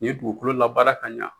Nin ye dugukolo labaara ka ɲa